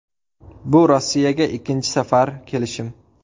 Bu Rossiyaga ikkinchi safar kelishim.